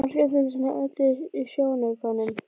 Margrét fylgdist með öllu í sjónaukanum.